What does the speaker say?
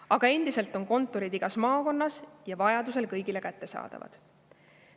Aga endiselt on kontorid igas maakonnas ja vajadusel kõigile kättesaadavad.